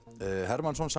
Hermannsson